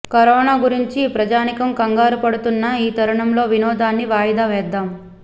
corona గురించి ప్రజానీకం కంగారు పడుతున్న ఈ తరుణంలో వినోదాన్ని వాయిదా వేద్దాం